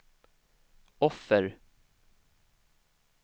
offer